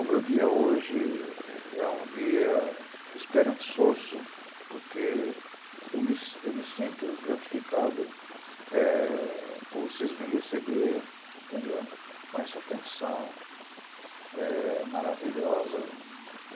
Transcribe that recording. O meu dia hoje é um dia esperançoso, porque eu me eu me sinto gratificado por vocês me receber, entende? Com essa atenção maravilhosa.